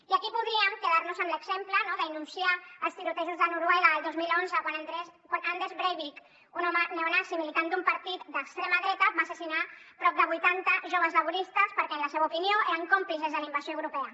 i aquí podríem quedar nos amb l’exemple no de denunciar els tirotejos a noruega el dos mil onze quan anders breivik un home neonazi militant d’un partit d’extrema dreta va assassinar prop de vuitanta joves laboristes perquè en la seva opinió eren còmplices de la invasió europea